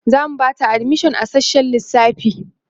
zamu Bata admission a sassshen lissafi